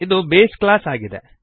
ಇದು base class ಆಗಿದೆ